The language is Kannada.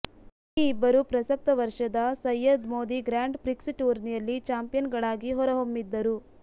ಈ ಇಬ್ಬರೂ ಪ್ರಸಕ್ತ ವರ್ಷದ ಸಯ್ಯದ್ ಮೋದಿ ಗ್ರಾಂಡ್ ಪ್ರಿಕ್ಸ್ ಟೂರ್ನಿಯಲ್ಲಿ ಚಾಂಪಿಯನ್ ಗಳಾಗಿ ಹೊರಹೊಮ್ಮಿದ್ದರು